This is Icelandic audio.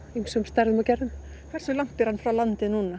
ýmsum stærðum og gerðum hversu langt er hann frá landi núna